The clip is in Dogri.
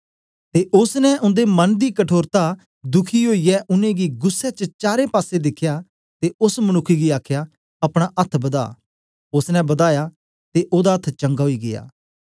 ते ओसने उन्दे मन दी कठोरता दुखी ओईयै उनेंगी गुस्सै च चारें पासे दिखया ते ओस मनुक्ख गी आखया अपना अथ्थ बदा ओसने बदाया ते ओदा अथ्थ चंगा ओई गीया